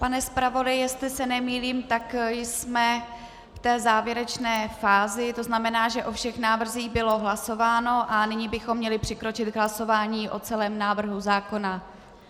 Pane zpravodaji, jestli se nemýlím, tak jsme v té závěrečné fázi, to znamená, že o všech návrzích bylo hlasováno a nyní bychom měli přikročit k hlasování o celém návrhu zákona.